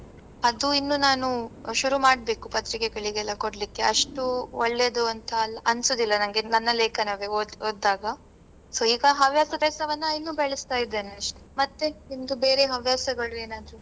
ಅದು ಇನ್ನು ನಾನು ಶುರು ಮಾಡ್ಬೇಕು ಪತ್ರಿಕೆಗಳಿಗೆಲ್ಲಾ ಕೊಡ್ಲಿಕ್ಕೆ ಅಷ್ಟೂ ಒಳ್ಳೆದು ಅಂತಾ ಅನ್ಸುದಿಲ್ಲ ನಂಗೆ ನನ್ನ ಲೇಖನವೇ ಓದ್~ ಓದ್ದಾಗ. so ಈಗ ಹವ್ಯಾಸ ಅಭ್ಯಾಸವನ್ನ ಇನ್ನೂ ಬೆಳೆಸ್ತಾ ಇದ್ದೇನೆ ಅಷ್ಟೆ. ಮತ್ತೆ ನಿಮ್ದು ಬೇರೆ ಹವ್ಯಾಸಗಳು ಏನಾದ್ರು.